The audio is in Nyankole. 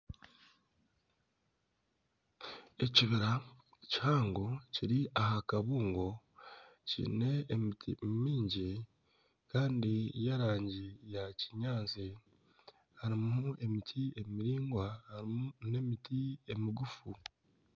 Ekibira kihango kiri aha kabungo kiine emiti mingi kandi y'erangi ya kinyaatsi. Harimu emiti emiraingwa, harimu n'emiti emigufu.